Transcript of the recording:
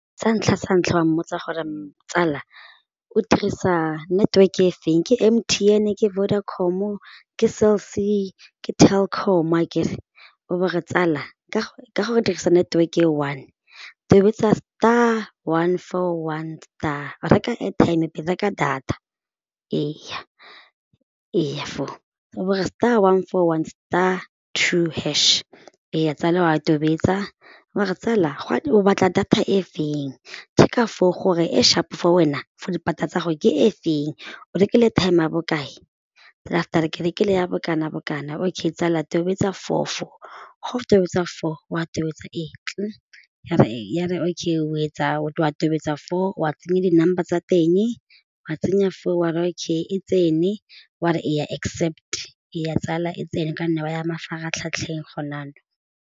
Sa ntlha sa ntlha wa mmotsa gore tsala o dirisa network e feng ke M_T_N ke Vodacom-o ke cell_C ke Telkom akere o bo re tsala ka gore o dirisa network e one tobetsa star, one, four, one, star, reka airtime pele, reka data eya for o bo re star, one, four, one, star, two hash eya tsala wa a tobetsa wa re tsala o batla data e feng check-a foo gore e sharp for wena fo dipata tsa gago ke e feng o rekile airtime ya bokae, after ke rekile ya bokana-bokana ok tsala tobetsa foo foo go o tobetsa foo wa tobetsa eng ya re okay etsa o a tobetsa foo wa tsenya di number tsa teng wa tsenya foo wa re okay e tsene wa re e ya accept eya tsala e tsene ka nna wa ya mafaratlhatlheng .